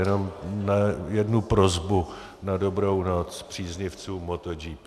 Jenom jednu prosbu na dobrou noc příznivcům MotoGP.